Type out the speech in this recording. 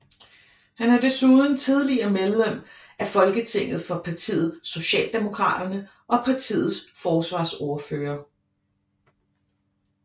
Han er desuden tidligere medlem af Folketinget for partiet Socialdemokraterne og partiets forsvarsordfører